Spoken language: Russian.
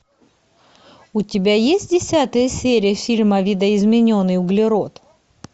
у тебя есть десятая серия фильма видоизмененный углерод